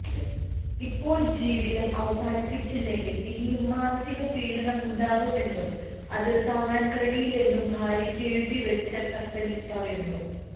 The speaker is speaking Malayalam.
ഇപ്പോള് ജീവിതം അവസാനിപ്പിച്ചില്ലെങ്കില് ഇനിയും മാനസിക പീഡനമുണ്ടാകുമെന്നും അത് താങ്ങാന് കഴിയില്ലെന്നും ഭാര്യക്ക് എഴുതിവെച്ച കത്തില് പറയുന്നു